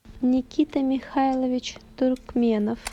никита михайлович туркменов